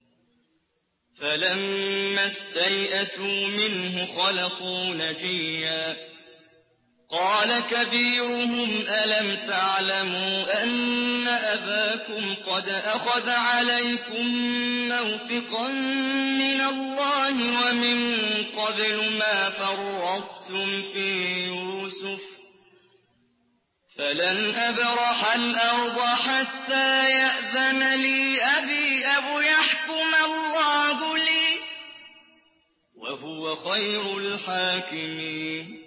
فَلَمَّا اسْتَيْأَسُوا مِنْهُ خَلَصُوا نَجِيًّا ۖ قَالَ كَبِيرُهُمْ أَلَمْ تَعْلَمُوا أَنَّ أَبَاكُمْ قَدْ أَخَذَ عَلَيْكُم مَّوْثِقًا مِّنَ اللَّهِ وَمِن قَبْلُ مَا فَرَّطتُمْ فِي يُوسُفَ ۖ فَلَنْ أَبْرَحَ الْأَرْضَ حَتَّىٰ يَأْذَنَ لِي أَبِي أَوْ يَحْكُمَ اللَّهُ لِي ۖ وَهُوَ خَيْرُ الْحَاكِمِينَ